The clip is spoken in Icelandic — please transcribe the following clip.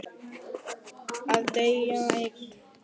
Að deyja einn.